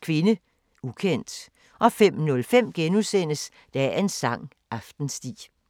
Kvinde, ukendt * 05:05: Dagens sang: Aftensti *